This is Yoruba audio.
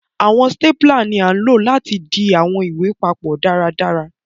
Àwọn stapler ní a ló láti dì àwọn ìwé papó dáradára.